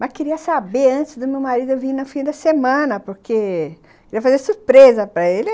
Mas queria saber antes do meu marido vir no fim da semana, porque queria fazer a surpresa para ele.